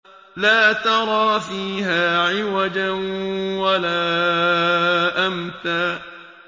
لَّا تَرَىٰ فِيهَا عِوَجًا وَلَا أَمْتًا